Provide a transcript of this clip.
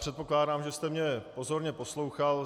Předpokládám, že jste mě pozorně poslouchal.